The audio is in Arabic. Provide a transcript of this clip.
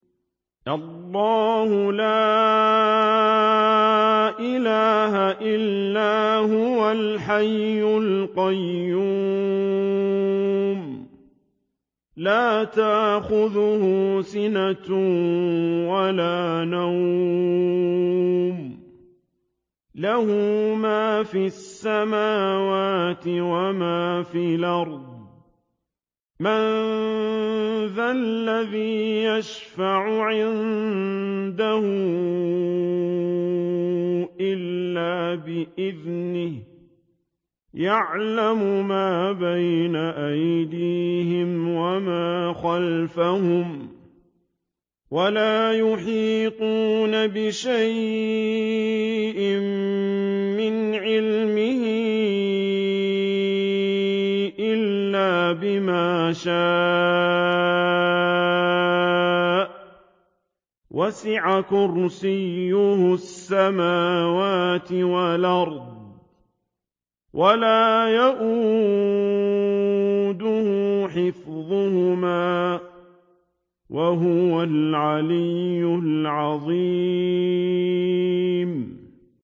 اللَّهُ لَا إِلَٰهَ إِلَّا هُوَ الْحَيُّ الْقَيُّومُ ۚ لَا تَأْخُذُهُ سِنَةٌ وَلَا نَوْمٌ ۚ لَّهُ مَا فِي السَّمَاوَاتِ وَمَا فِي الْأَرْضِ ۗ مَن ذَا الَّذِي يَشْفَعُ عِندَهُ إِلَّا بِإِذْنِهِ ۚ يَعْلَمُ مَا بَيْنَ أَيْدِيهِمْ وَمَا خَلْفَهُمْ ۖ وَلَا يُحِيطُونَ بِشَيْءٍ مِّنْ عِلْمِهِ إِلَّا بِمَا شَاءَ ۚ وَسِعَ كُرْسِيُّهُ السَّمَاوَاتِ وَالْأَرْضَ ۖ وَلَا يَئُودُهُ حِفْظُهُمَا ۚ وَهُوَ الْعَلِيُّ الْعَظِيمُ